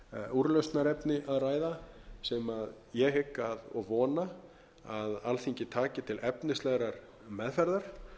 úrlausnarefni að ræða sem ég hygg og vona að alþingi taki til efnislegrar meðferðar